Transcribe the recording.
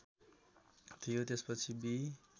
थियो त्यसपछि बि